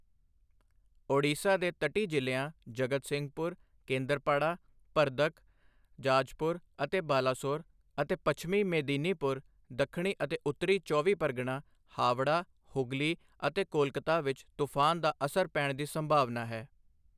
ਓਡੀਸ਼ਾ ਦੇ ਤਟੀ ਜ਼ਿਲ੍ਹਿਆਂ ਜਗਤਸਿੰਘਪੁਰ, ਕੇਂਦਰਪਾੜਾ, ਭਰਦਕ, ਜਾਜਪੁਰ ਅਤੇ ਬਾਲਾਸੋਰ ਅਤੇ ਪੱਛਮੀ ਮੇਦਿਨੀਪੁਰ, ਦੱਖਣੀ ਅਤੇ ਉੱਤਰੀ ਚੌਵੀ ਪਰਗਨਾ, ਹਾਵੜਾ, ਹੁਗਲੀ ਅਤੇ ਕੋਲਕਾਤਾ ਵਿੱਚ ਤੂਫ਼ਾਨ ਦਾ ਅਸਰ ਪੈਣ ਦੀ ਸੰਭਾਵਨਾ ਹੈ।